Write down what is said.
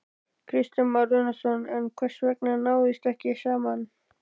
Kristján Már Unnarsson: En hvers vegna náðist ekki saman?